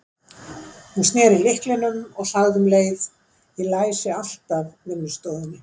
Hún sneri lyklinum og sagði um leið: Ég læsi alltaf vinnustofunni.